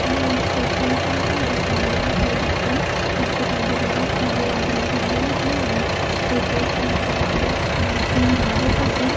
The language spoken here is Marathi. हा एक पेट्रोल पंप आहे इंडियन ऑइल च आणखी बाजूला आजूबाजूला झाडे लागली आहेत पेट्रोल पंप च्या मागे मोठी इमारत आहे.